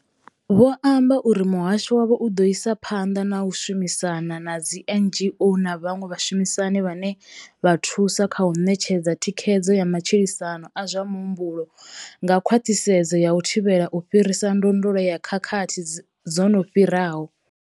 Vho amba uri muhasho wavho u ḓo isa phanḓa na u shumisana na dzi NGO na vhaṅwe vhashumisani vhane vha thusa kha u ṋetshedza thikhedzo ya matshilisano a zwa muhumbulo nga khwaṱhisedzo ya u thivhela u fhirisa ndondolo ya khakhathi dzo no fhiraho.